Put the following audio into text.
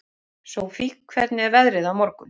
Sofie, hvernig er veðrið á morgun?